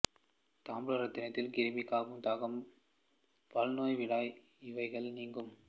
தாம்பூல ரசத்தினால் கிருமி கபம் தாகம் பல்நோய் விடாய் இவைகள் நீங்கும்